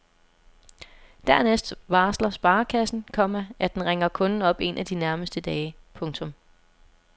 Dernæst varsler sparekassen, komma at den ringer kunden op en af de nærmeste dage. punktum